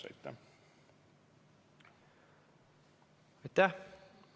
Aitäh!